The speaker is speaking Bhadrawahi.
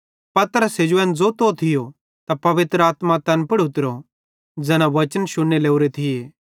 पतरस हेजू एन ज़ोंतो थियो त पवित्र आत्मा तैन पुड़ उतरी ज़ैना बच्चन शुन्ने लोरे थिये